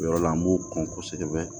O yɔrɔ la an b'o kɔn kosɛbɛ